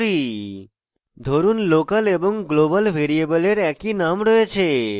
ধরুন local এবং global ভ্যারিয়েবলের একই name রয়েছে